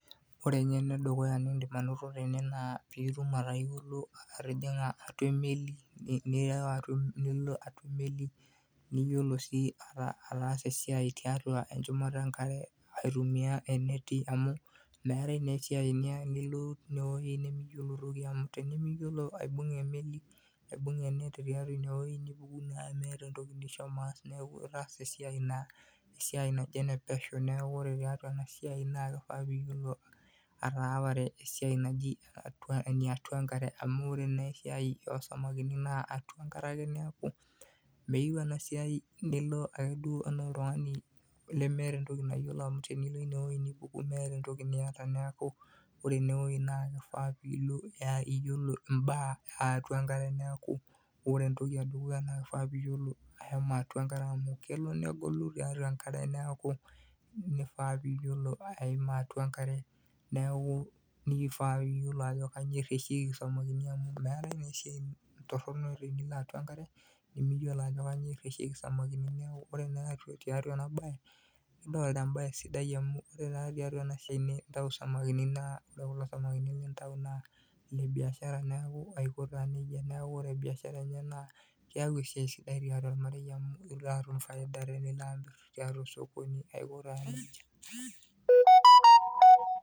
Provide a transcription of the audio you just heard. Ore eng'eno edukuya niidim anoto tene naa piitum atayiolo atijing'a atua emeli nilo atua emeli niyiolou sii ataasa esiai tiatua enchumata enkare aitumia eneti amu meetai naa esiai niloito tinewueji nemiyiolo toki amu tenemiyiolo aibung'a emeli, aibung'a ineti tiatua ineweui nipuku naa miata entoki nishomo aas neeku itaasa esiai naa esiai naji enepesho neeku ore tiatua ena siai naa kifaa pee iyiolou ataapare esiai naji eniatua enkare amu ore naa esiai oosamakini naa eniatua enkare neeku meyieu ena siai nilo ake duo enaa oltung'ani lemeeta entoki nayiolo, nilo inewueji nipuku miata entoki niata neeku ore inewueji naa kifaa piilo iyiolo imbaa e atua enkare neeku ore entoki edukuya naa kifaa pee iyiolo ashomo tiatua enkare amu kelo negolu tiatua enkare neeku ifaa piiyiolo aima atua enkare neeku ifaa pee iyiolou ajo kanyio erreshieki isamakini amu meetai naa esiai torrono enaa enilo atua enkare nemiyiolo ajo kainyioo erreshieki isamakini neeku ore naa tiatu ena baye naa kembae sidai amu ore tiatua ena siai nintau isamakini naa ore kulo samakini lintau naa ile biashara naa aiko taa neija amu itum faida tenilo amirr tiatua osokoni, aiko taa nijia.